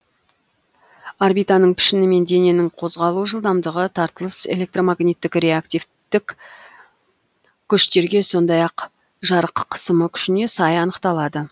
орбитаның пішіні мен дененің қозғалу жылдамдығы тартылыс электрмагниттік реактивтік күштерге сондай ақ жарық қысымы күшіне сай анықталады